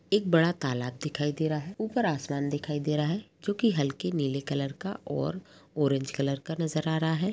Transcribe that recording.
एक बड़ा तालाब दिखाई दे रहा है। ऊपर आसमान दिखाई दे रहा है जो कि हल्के नीले कलर का और ऑरेंज कलर का नजर आ रहा है।